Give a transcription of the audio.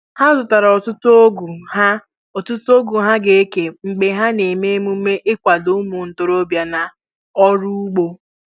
Ha zụtara ọtụtụ ọgụ ha ọtụtụ ọgụ ha ga-eke mgbe ha ga eme emume ịkwado ụmụ ntorobia na ọrụ ugbo